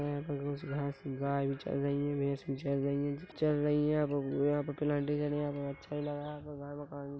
यहाँ पे कुछ घास गाय भी चल रही है भैंस भी चल रही है चल रही है और यहाँ पे अच्छा लग रहा मकान--